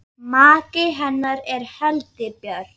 Maki hennar er Helgi Björn.